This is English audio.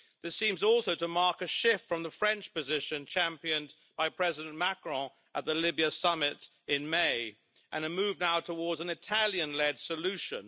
This seems also to mark a shift from the French position championed by President Macron at the Libya summit in May and a move now towards an Italian led solution.